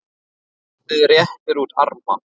og barnið réttir út arma